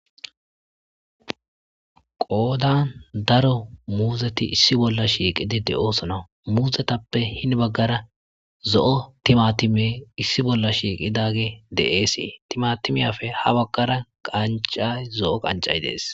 qoodan daro muuzeti issi bolla shiiqidi de'oosona muuzetappe hin baggara zo'o timatime issi bolla shiiqidage de'esii timatimiyafe ha baggara qancay zo'o qancay dees